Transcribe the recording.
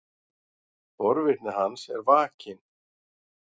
Forvitni hans er vakin.